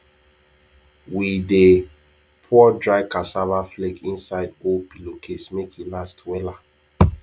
we dey pour dry cassava flake inside old pillowcase make e last wella